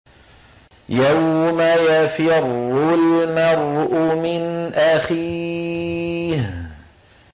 يَوْمَ يَفِرُّ الْمَرْءُ مِنْ أَخِيهِ